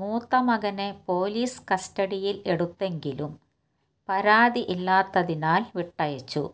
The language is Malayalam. മൂത്തമകനെ പോലീസ് കസ്റ്റഡിയിൽ എടുത്തെങ്കിലും പരാതി ഇല്ലാത്തതിനാൽ വിട്ടയച്ചു